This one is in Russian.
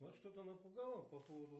вас что то напугало по поводу